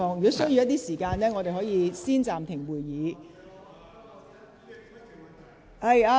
如有需要，我可以暫停會議。